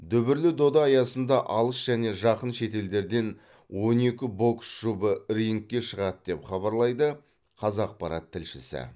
дүбірлі дода аясында алыс және жақын шетелдерден он екі бокс жұбы рингке шығады деп хабарлайды қазақпарат тілшісі